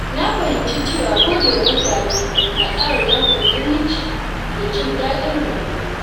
Na fahimci cewa godewa mutane na ƙara dankon zumunci da jin daɗin rayuwa.